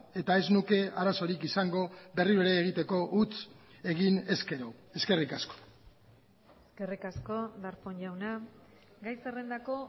eta ez nuke arazorik izango berriro ere egiteko huts egin ezkero eskerrik asko eskerrik asko darpón jauna gai zerrendako